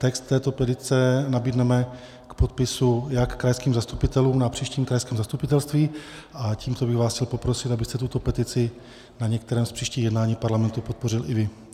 Text této petice nabídneme k podpisu jak krajským zastupitelům na příštím krajském zastupitelstvu a tímto bych vás chtěl poprosit, abyste tuto petici na některém z příštích jednání Parlamentu podpořil i vy.